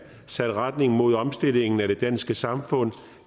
sat retning mod omstilling af det danske samfund